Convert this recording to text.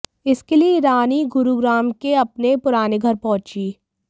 इसके लिए ईरानी गुरुग्राम के अपने पुराने घर पहुंची